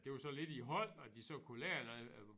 Det var sådan lidt i hold at de så kunne lære noget